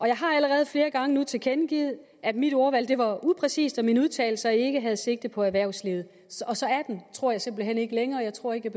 jeg har allerede flere gange nu tilkendegivet at mit ordvalg var upræcist og at mine udtalelser ikke havde sigte på erhvervslivet og så er den tror jeg simpelt hen ikke længere jeg tror ikke